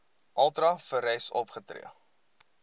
ultra vires opgetree